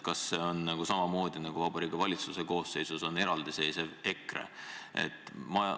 Kas see on samamoodi, nagu Vabariigi Valitsuse koosseisus on eraldi seisev EKRE?